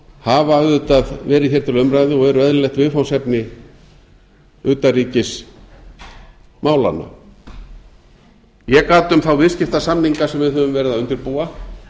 hafa auðvitað verið hér til umræðu og eru eðlilegt viðfangsefni utanríkismálanna ég gat um þá viðskiptasamninga sem við höfum verið að undirbúa